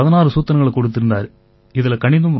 அதில அவரு 16 சூத்திரங்களை கொடுத்திருந்தாரு